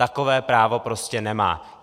Takové právo prostě nemá.